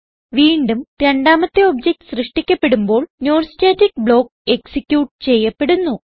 വീണ്ടും രണ്ടാമത്തെ ഒബ്ജക്ട് സൃഷ്ടിക്കപ്പെടുമ്പോൾ non സ്റ്റാറ്റിക് ബ്ലോക്ക് എക്സിക്യൂട്ട് ചെയ്യപ്പെടുന്നു